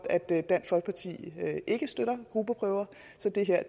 at dansk folkeparti ikke støtter gruppeprøver så det her